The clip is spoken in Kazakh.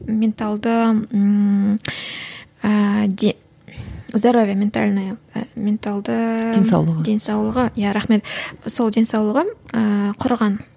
менталды ыыы здоровья ментальная менталды денсаулығы денсаулығы иә рахмет сол денсаулығы ыыы құрыған